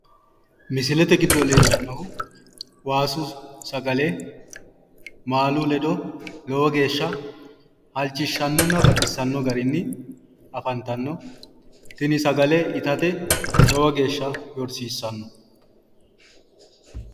misilete giddo leellannohu waasu sagale maalu ledo lowe geeshsha halchishshannonna baxissano garinni afantanno tini sagale itate lowo geeshsha yorsiissanno.